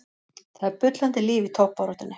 Það er bullandi líf í toppbaráttunni.